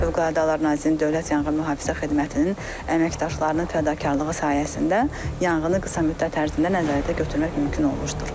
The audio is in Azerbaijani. Fövqəladə Hallar Nazirliyinin Dövlət Yanğın Mühafizə Xidmətinin əməkdaşlarının fədakarlığı sayəsində yanğını qısa müddət ərzində nəzarətə götürmək mümkün olmuşdur.